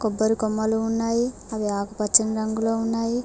కొమ్మలు ఉన్నాయి అవి ఆకుపచ్చ రంగులో ఉన్నాయి.